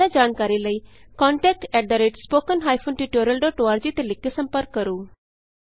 ਜਿਆਦਾ ਜਾਣਕਾਰੀ ਲਈ contact at spoken hyphen tutorial dot org ਤੇ ਲਿਖ ਕੇ ਸੰਪਰਕ ਕਰੋ